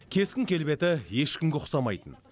кескін келбеті ешкімге ұқсамайтын